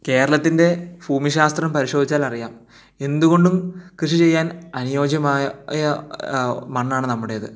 കേരളത്തിൻറെ ഭൂമിശാസ്ത്രം പരിശോധിച്ചാൽ അറിയാം എന്തുകൊണ്ട് കൃഷി ചെയ്യാൻ അനുയോജ്യമായ യ യാ മണ്ണാണ് നമ്മുടേത്